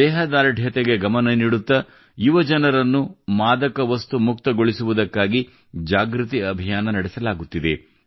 ದೇಹದಾರ್ಢ್ಯತೆಗೆ ಗಮನ ನೀಡುತ್ತಾ ಯುವಜನರನ್ನು ಮಾದಕ ವಸ್ತು ಮುಕ್ತಗೊಳಿಸುವುದಕ್ಕಾಗಿ ಜಾಗೃತಿ ಅಭಿಯಾನ ನಡೆಸಲಾಗುತ್ತಿದೆ